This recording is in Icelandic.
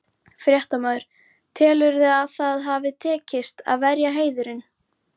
Fréttamaður: Telurðu að það hafi tekist, að verja heiðurinn?